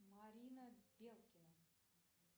марина белкина